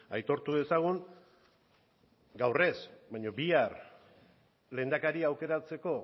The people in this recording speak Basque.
aitortu dezagun gaur ez baina bihar lehendakari aukeratzeko